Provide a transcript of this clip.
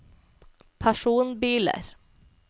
personbiler